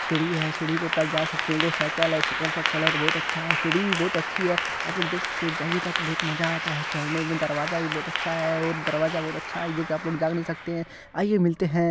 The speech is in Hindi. सीढ़ी है सीढ़ी के ऊपर जा सकते है एगो साइकल है साइकिल का कलर बहुत अच्छा है सीढ़ी भी बहुत अच्छी है आप लोग देख सकते हो जाइएगा तो बहुत मज़ा आता है चढ़ने में दरवाजा भी बहुत अच्छा है और दरवाजा बहुत अच्छा है जो कि आप लोग जा नहीं सकते है आइए मिलते है।